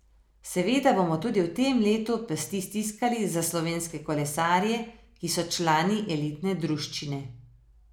Seveda bomo tudi v tem letu pesti stiskali za slovenske kolesarje, ki so člani elitne druščine.